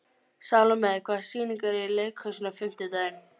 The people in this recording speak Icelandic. Salome, hvaða sýningar eru í leikhúsinu á fimmtudaginn?